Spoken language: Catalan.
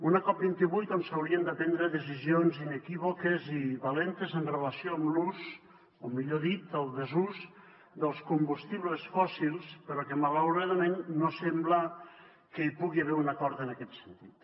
una cop28 on s’haurien de prendre decisions inequívoques i valentes amb relació a l’ús o millor dit al desús dels combustibles fòssils però que malauradament no sembla que hi pugui haver un acord en aquest sentit